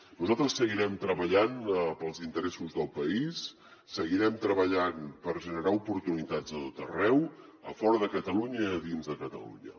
nosaltres seguirem treballant pels interessos del país seguirem treballant per generar oportunitats a tot arreu a fora de catalunya i a dins de catalunya